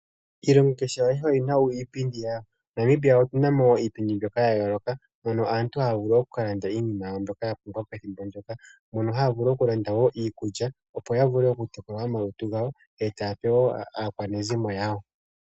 Iilongo kehe ayihe oyi na iipindi yawo. Namibia oku na mo wo iipindi mbyoka ya yooloka mono aantu haya vulu oku ka landa iinima yawo mbyoka ya pumbwa pethimbo ndyoka mono haya vulu okulanda wo iikulya opo ya vule okutekula omalutu gawo, etaya pe woo aakwanezimo yawo.